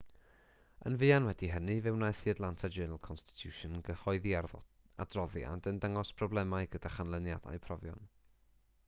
yn fuan wedi hynny fe wnaeth the atlanta journal-constitution gyhoeddi adroddiad yn dangos problemau gyda chanlyniadau profion